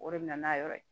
O de bɛ na n'a yɔrɔ ye